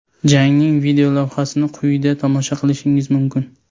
Jangning videolavhasini quyida tomosha qilishingiz mumkin.